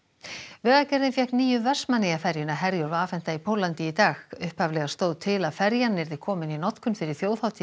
vegagerðin fékk nýju Vestmannaeyjaferjuna Herjólf afhenta í Póllandi í dag upphaflega stóð til að ferjan yrði komin í notkun fyrir þjóðhátíð í